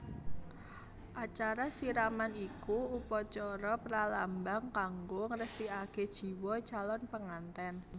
Acara siraman iku upacara pralambang kanggo ngresikaké jiwa calon pengantèn